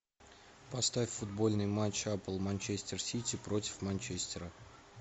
поставь футбольный матч апл манчестер сити против манчестера